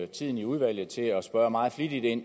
tiden i udvalget til at spørge meget flittigt ind